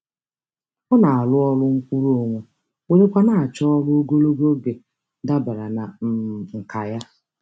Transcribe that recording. Ọ na-arụ ọrụ nkwuruonwe were kwa na-achọ ọrụ ogologo oge dabara na um nkà ya.